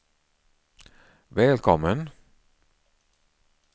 välkommen